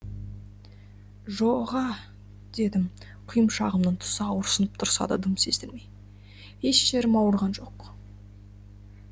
жо ға дедім құйымшағымның тұсы ауырсынып тұрса да дым сездірмей еш жерім ауырған жоқ